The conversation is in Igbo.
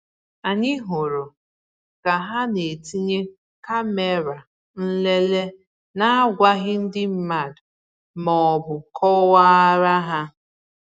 Anyị hụrụ ka ha na-etinye kàmèrà nlele na-agwaghị ndị mmad maọbụ kọwaara ha